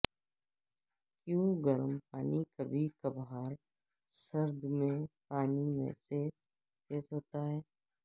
کیوں گرم پانی کبھی کبھار سرد پانی سے تیز ہوتا ہے